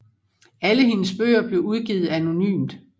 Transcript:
Alle hendes bøger blev udgivet anonymt